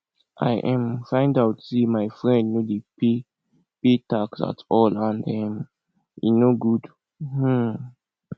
i um find out say my friend no dey pay pay tax at all and um e no good um